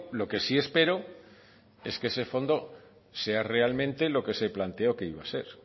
lo que sí espero es que ese fondo sea realmente lo que se planteó que iba ser